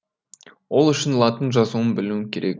ол үшін латын жазуын білуім керек